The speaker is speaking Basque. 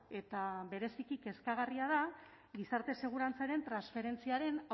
eta bereziki kezkagarria da gizarte segurantzaren transferentziaren